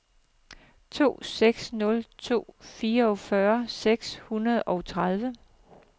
to seks nul to fireogfyrre seks hundrede og tredive